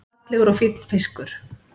Fallegur og fínn fiskur